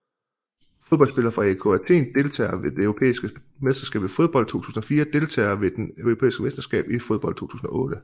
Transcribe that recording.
Fodboldspillere fra AEK Athen Deltagere ved det europæiske mesterskab i fodbold 2004 Deltagere ved det europæiske mesterskab i fodbold 2008